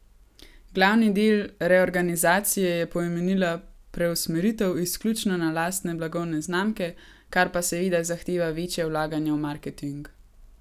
Glavni del reorganizacije je pomenila preusmeritev izključno na lastne blagovne znamke, kar pa seveda zahteva večje vlaganje v marketing.